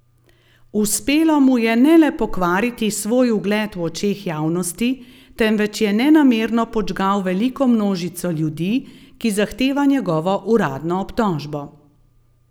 Uspelo mu je ne le pokvariti svoj ugled v očeh javnosti, temveč je nenamerno podžgal veliko množico ljudi, ki zahteva njegovo uradno obtožbo.